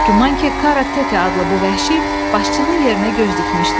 Çox güman ki, Karatete adlı bu vəhşi başçının yerinə göz dikmişdi.